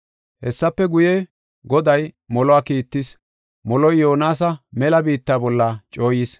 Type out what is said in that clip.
Hessafe guye, Goday moluwa kiittis. Moloy Yoonasa mela biitta bolla cooyis.